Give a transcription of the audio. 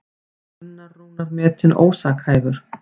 Gunnar Rúnar metinn ósakhæfur